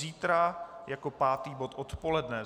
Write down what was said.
Zítra jako pátý bod odpoledne.